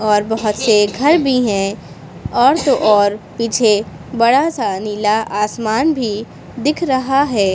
और बहोत से घर भी है और तो और पीछे बड़ा सा नीला आसमान भी दिख रहा है।